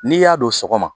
N'i y'a don sɔgɔma